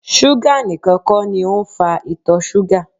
Ṣúgà nìkan kọ́ ni ó ń fa ìtọ̀ súgà